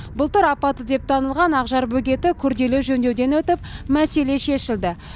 былтыр апатты деп танылған ақжар бөгеті күрделі жөндеуден өтіп мәселе шешілді